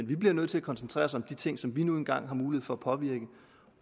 vi bliver nødt til at koncentrere os om de ting som vi nu engang har mulighed for at påvirke